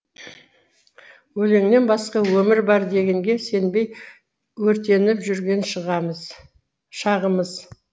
өлеңнен басқа өмір бар дегенге сенбей өртетіп жүрген шағымыз